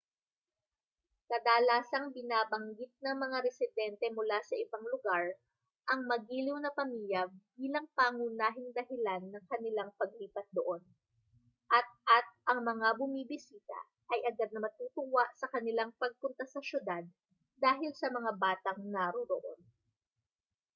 kadalasang binabanggit ng mga residente mula sa ibang lugar ang magiliw na pamilya bilang pangunahing dahilan ng kanilang paglipat doon at at ang mga bumibisita ay agad na matutuwa sa kanilang pagpunta sa syudad dahil sa mga batang naroroon